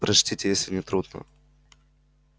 прочтите если не трудно